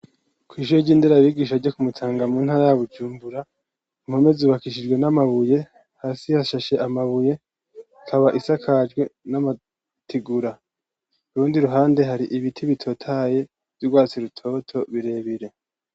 Kw’ishure ry'inderabigisha, ryo ku Mutanga, mu ntara ya Bujumbura, impome zubakishijwe n'amabuye, hasi hashashe amabuye, ikaba isakajwe n'amategura; ku rundi ruhande, hari ibiti, bitotahaye, vy'urwatsi rutoto, birebire.